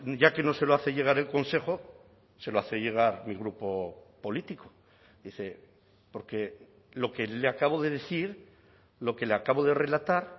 ya que no se lo hace llegar el consejo se lo hace llegar mi grupo político dice porque lo que le acabo de decir lo que le acabo de relatar